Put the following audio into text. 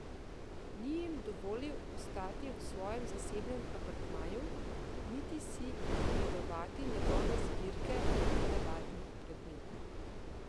Ni jim dovolil ostati v svojem zasebnem apartmaju niti si ogledovati njegove zbirke nenavadnih predmetov.